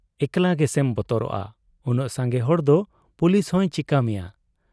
ᱮᱠᱞᱟ ᱜᱮᱥᱮᱢ ᱵᱚᱛᱚᱨᱚᱜ ᱟ ᱾ ᱩᱱᱟᱹᱜ ᱥᱟᱝᱜᱮ ᱦᱚᱲᱫᱚ ᱯᱩᱞᱤᱥᱦᱚᱸᱭ ᱪᱤᱠᱟᱹ ᱢᱮᱭᱟ ᱾